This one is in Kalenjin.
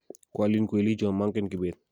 kwalin kwelicho mang'en kibet